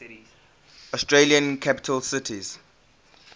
australian capital cities